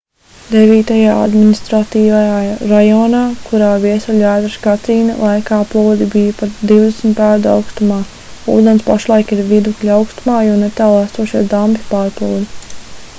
devītajā administratīvajā rajonā kurā viesuļvētras katrīna laikā plūdi bija pat 20 pēdu augstumā ūdens pašlaik ir vidukļa augstumā jo netālu esošais dambis pārplūda